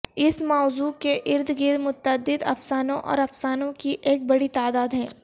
اس موضوع کے ارد گرد متعدد افسانوں اور افسانوں کی ایک بڑی تعداد ہے